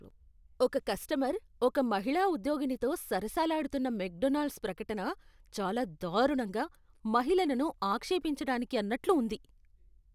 ఒక కస్టమర్ ఒక మహిళా ఉద్యోగినితో సరసాలాడుతున్న మెక్డొనాల్డ్స్ ప్రకటన చాలా దారుణంగా, మహిళలను ఆక్షేపించడానికి అన్నట్లు ఉంది.